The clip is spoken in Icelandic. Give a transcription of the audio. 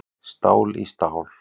Stál í stál